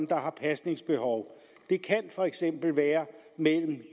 der har pasningsbehov det kan for eksempel være mellem